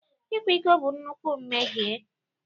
Ịkwa iko bụ nnukwu mmehie